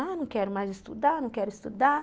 Ah, não quero mais estudar, não quero estudar.